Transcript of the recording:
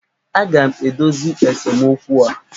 Aga m edozi esemokwu a!